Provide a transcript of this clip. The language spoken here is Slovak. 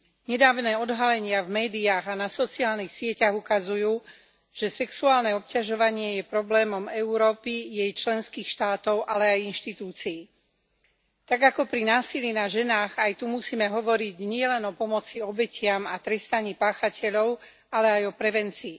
Nedávne odhalenia v médiách a na sociálnych sieťach ukazujú, že sexuálne obťažovanie je problémom Európy, jej členských štátov, ale aj inštitúcií. Tak ako pri násilí na ženách, aj tu musíme hovoriť nielen o pomoci obetiam a trestaní páchateľov, ale aj o prevencii.